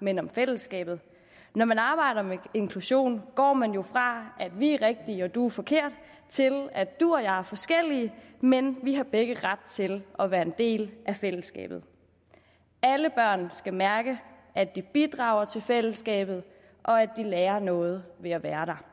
men om fællesskabet når man arbejder med inklusion går man jo fra at vi er rigtige og du er forkert til at du og jeg er forskellige men vi har begge ret til at være en del af fællesskabet alle børn skal mærke at de bidrager til fællesskabet og at de lærer noget ved at være der